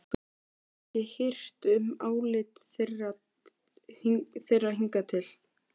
Þú hefur ekki hirt um álit þeirra hingað til.